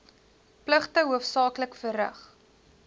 pligte hoofsaaklik verrig